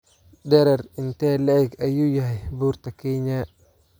Dherer intee le'eg ayuu yahay Buurta Kenya?